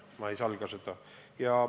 Ma ei salga seda.